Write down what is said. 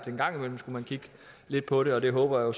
en gang imellem skulle kigge lidt på det og det håber